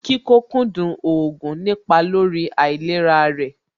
Kíkókúndù oògùn nípa lórí àìlera rẹ̀